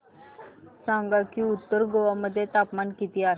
सांगा की उत्तर गोवा मध्ये तापमान किती आहे